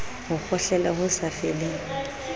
ho kgohlela ho sa feleng